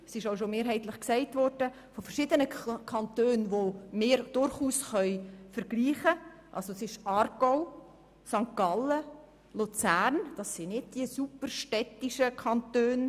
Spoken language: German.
Zudem können wir – wie bereits mehrheitlich erwähnt – mit verschiedenen Kantonen wie Aargau, St. Gallen und Luzern vergleichen, weil diese nicht extrem städtisch sind.